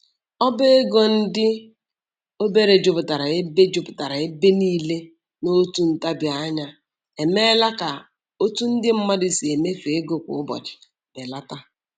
Ọba ego ndị obere juputara ebe juputara ebe niile n'otu ntabianya emeela ka otu ndị mmadụ si emefu ego kwa ụbọchị belata